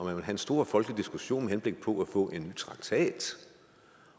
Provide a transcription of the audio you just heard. have en stor folkelig diskussion med henblik på at få en ny traktat